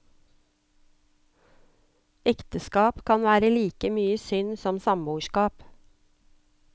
Ekteskap kan være like mye synd som samboerskap.